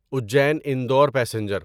Ujjain Indore passenger